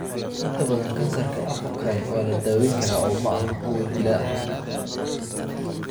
Inta badan kansarka apocrine waa la daweyn karaa oo maaha kuwo dilaa ah.